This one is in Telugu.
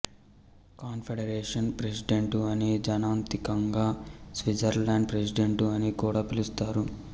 కాన్ఫెడరేషన్ ప్రెసిడెంటు అని జనాంతికంగా స్విట్జర్లాండ్ ప్రెసిడెంటు అని కూడా పిలుస్తారు